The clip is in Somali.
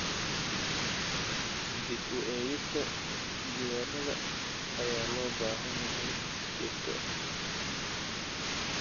Dib u eegista diiwaannada ayaa loo baahan yahay si joogto ah.